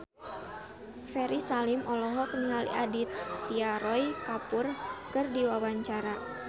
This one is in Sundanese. Ferry Salim olohok ningali Aditya Roy Kapoor keur diwawancara